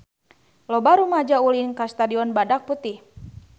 Loba rumaja ulin ka Stadion Badak Putih